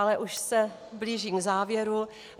Ale už se blížím k závěru.